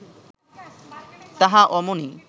তাহা অমনি